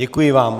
Děkuji vám.